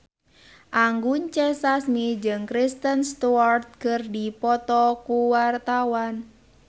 Anggun C. Sasmi jeung Kristen Stewart keur dipoto ku wartawan